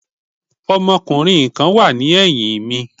Ọmọkùnrin kan wà ní ẹ̀yìn mi.